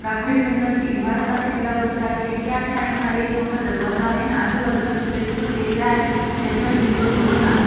राखाडी रंगाची इमारत आहे तिला वर चार खिडक्या आहेत आणि खाली एक मोठा दरवाजा आहे आणि आजूबाजूला छोट्या छोट्या टेकड्या आहेत ज्याच्यावर हिरव गवत आहे.